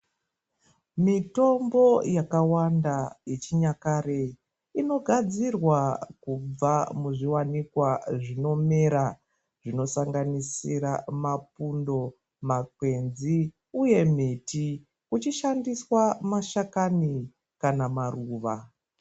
Mitombo yakawanda yechinyakare inogadzirwa kubva muzviwanikwa zvinomera zvinosanganisira mapundo ,makwenzi uye miti uchishandiswa mashakani kana maruva.